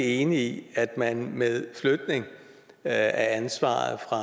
enig i at man med flytning af ansvaret fra